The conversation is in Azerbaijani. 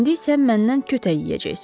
İndi isə məndən kötək yeyəcəksiz.